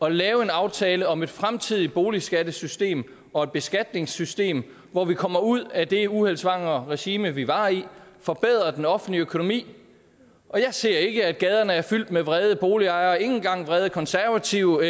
at lave en aftale om et fremtidigt boligskattesystem og et beskatningssystem hvor vi kommer ud af det uheldssvangre regime vi var i forbedrer den offentlige økonomi og jeg ser ikke at gaderne er fyldt med vrede boligejere ikke engang vrede konservative